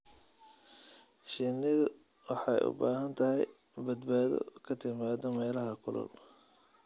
Shinnidu waxay u baahan tahay badbaado ka timaada meelaha kulul.